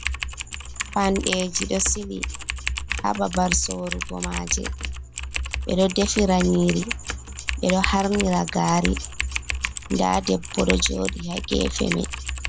Payandeeji ɗo sili haa babal sorugo maaje, ɓe ɗo defira nyiiri, ɓe ɗo harnira gaari .Ndaa debbo ɗo jooɗi haa gefe may.